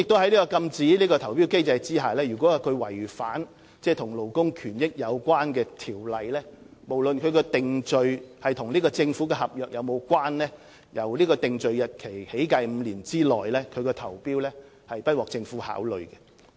在禁止投標機制下，如承辦商違反與勞工權益有關的條例，無論其定罪是否與政府合約有關，均由定罪日期起計的5年內，不獲政府考慮其所作投標。